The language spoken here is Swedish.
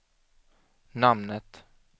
namnet